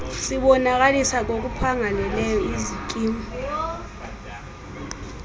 sibonakalisa ngokuphangaleleyo izikimu